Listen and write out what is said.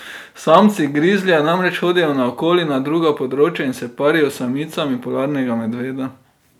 Samci grizlija namreč hodijo naokoli na druga področja in se parijo s samicami polarnega medveda.